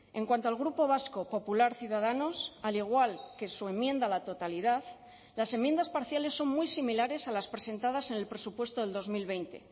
en cuanto al grupo vasco popular ciudadanos al igual que su enmienda a la totalidad las enmiendas parciales son muy similares a las presentadas en el presupuesto del dos mil veinte